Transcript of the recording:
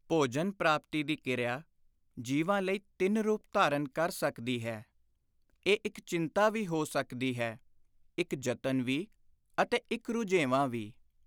ਭੋਜਨ-ਪ੍ਰਾਪਤੀ ਦੀ ਕਿਰਿਆ ਜੀਵਾਂ ਲਈ ਤਿੰਨ ਰੂਪ ਧਾਰਨ ਕਰ ਸਕਦੀ ਹੈ; ਇਹ ਇਕ ਚਿੰਤਾ ਵੀ ਹੋ ਸਕਦੀ ਹੈ; ਇਕ ਯਤਨ ਵੀ ਅਤੇ ਇਕ ਰੁਝੇਵਾਂ ਵੀ।